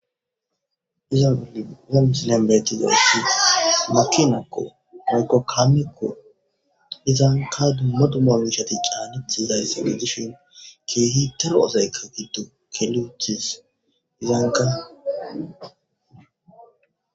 dizangali wem silebeetizoyssis makinakko mayko kaamekko izanka dumadomawishati caanitizayssi medishin ke hitero ozayka giddo keluchis izanka